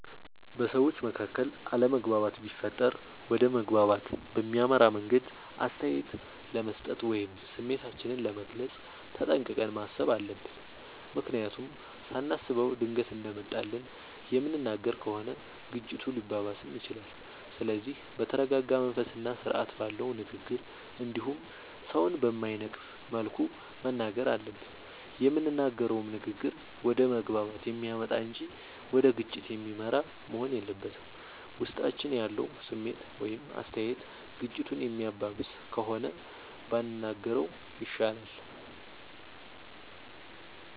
በሠዎች መካከል አለመግባባት ቢፈጠር ወደ መግባባት በሚያመራ መንገድ አስተያየት ለመስጠት ወይም ስሜታችንን ለመግለፅ ተጠንቅቀን ማሠብ አለብ። ምክንያቱም ሳናስበው ድንገት እንደመጣልን የምንናገር ከሆነ ግጭቱ ሊባባስም ይችላል። ስለዚህ በተረረጋ መንፈስና ስርአት ባለው ንግግር እንዲሁም ሠውን በማይነቅፍ መልኩ መናገር አለብን። የምንናገረውም ንግግር ወደ መግባባት የሚያመጣ እንጂ ወደ ግጭት የሚመራ መሆን የለበትም። ውስጣችን ያለው ስሜት ወይም አስተያየት ግጭቱን የሚያባብስ ከሆነ ባንናገረው ይሻላል።